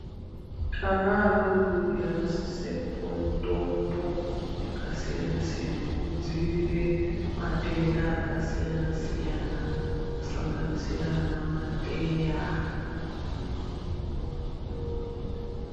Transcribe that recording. Ana adodori anosisa kupiwe mitombo yakasiyana siyana yekudzivirira matenda akasiyana siyana kusanganisira ana mateya.